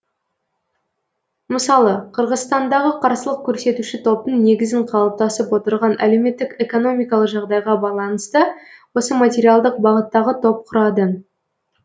мысалы қырғызстандағы қарсылық көрсетуші топтың негізін қалыптасып отырған әлеуметтік экономикалық жағдайға байланысты осы материалдық бағыттағы топ құрады